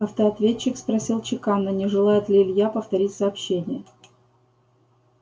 автоответчик спросил чеканно не желает ли илья повторить сообщение